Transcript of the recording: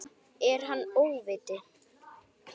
Er hann óviti?